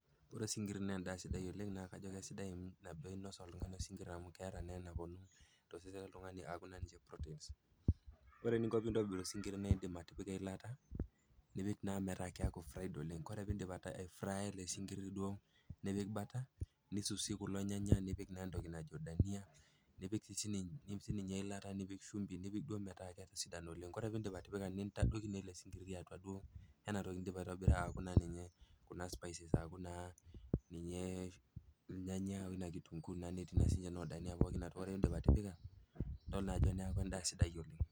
Ore sinkir naa endaa sidai oleng naa kajo kesidai nabo einos oltung'ani amu keata naa enaponu tosesen loltung'ani aaku naa protein. Ore eninko pee intobir osinkiri naa indim atipika eilata, nipik naa metaa fried oleng, ore pindip aifraya ele sinkiri nipik bata nisus kulo nyanya nipik naa entoki najo dania nipik eilata, nipik sininye shumbi, nipik duo metaa ketisidana oleng. Ore pindip atipika nintadoki naa ele sinkiri atua ena toki nindipa aitobira aku naa ninye kuna spices aku naa ilnyanya woina kitunguu netii naa noo dania atua, ore peindip atipika, nidol naa ajo neaku endaa sidai oleng.